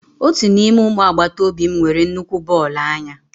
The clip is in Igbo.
Otu n'ime ụmụ agbata obi m nwere nnukwu bọọlụ anya.